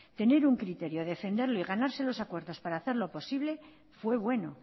tener un criterio defenderlo y ganarse los acuerdos para hacerlo posible fue bueno